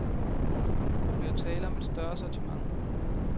Der bliver tale om et større sortiment.